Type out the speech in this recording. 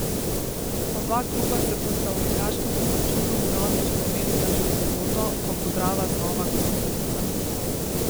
Oba kluba se bosta v ligaškem obračunu vnovič pomerila že v soboto, ko bo Drava znova gostiteljica.